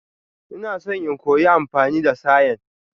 Ina so in koya amfani da sayen.